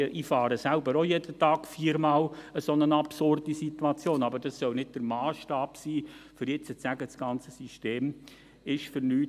Ich fahre selber auch jeden Tag viermal eine solche absurde Situation, aber das soll nicht der Massstab sein, um jetzt zu sagen, das ganze System ist für nichts.